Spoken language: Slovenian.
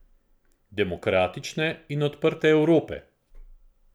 Demokratične in odprte Evrope.